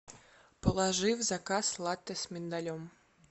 положи в заказ латте с миндалем